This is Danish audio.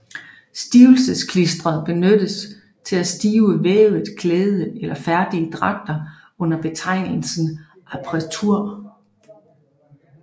Stivelsesklister benyttes til at stive vævet klæde eller færdige dragter under betegnelse appretur